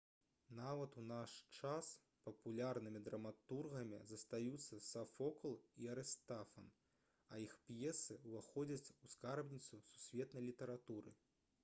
нават у наш час папулярнымі драматургамі застаюцца сафокл і арыстафан а іх п'есы ўваходзяць у скарбніцу сусветнай літаратуры